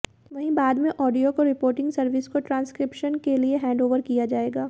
वहीं बाद में ऑडियो को रिपोर्टिग सर्विस को ट्रांसक्रिप्शन के लिए हैंडओवर किया जाएगा